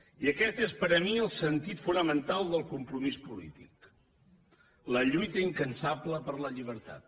i aquest és per a mi el sentit fonamental del compromís polític la lluita incansable per la llibertat